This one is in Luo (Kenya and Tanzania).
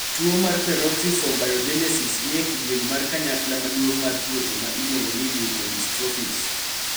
tuo mar Peroxisome biogenesis ni e kidieny mar kanyakla maduong' mar tuoche ma iluongo ni leukodystrophies.